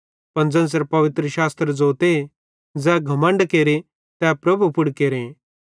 पन ज़ेन्च़रे पवित्रशास्त्र ज़ोते ज़ै घमण्ड केरे तै प्रभु पुड़ केरे